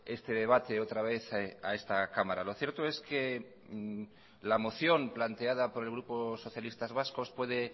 este debate otra vez a esta cámara lo cierto es que la moción planteada por el grupo socialistas vascos puede